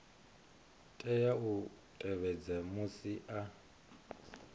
tea u tevhedza musi a